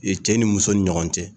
cɛ ni muso ni ɲɔgɔn cɛ.